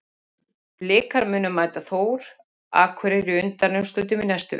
Blikar munu mæta Þór Akureyri í undanúrslitum í næstu viku.